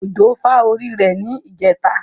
Ojo fà orí rẹ̀ ní ijẹtà.